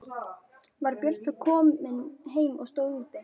Var Björn þá heim kominn og stóð úti.